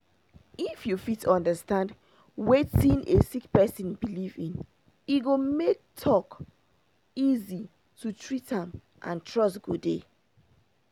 if you fit understand wetin a sick person believe in e go make talk dey easy to treat am and trust go dey